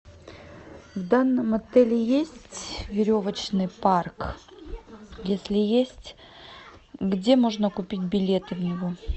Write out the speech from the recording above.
в данном отеле есть веревочный парк если есть где можно купить билеты в него